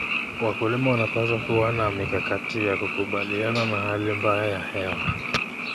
Wakulima wanapaswa kuwa na mikakati ya kukabiliana na hali mbaya ya hewa.